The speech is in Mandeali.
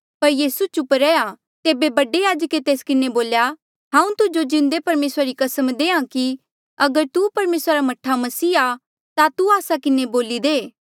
पर यीसू चुप रैहया तेबे बडे याजके तेस किन्हें बोल्या हांऊँ तुजो जिन्दे परमेसरा री कसम देहां कि अगर तू परमेसरा रा मह्ठा मसीह आ ता तू आस्सा किन्हें बोली दे